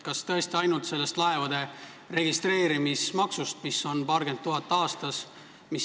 Kas tõesti ainult sellest laevade registreerimismaksust, mis on paarkümmend tuhat aastas?